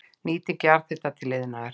Nýting jarðhita til iðnaðar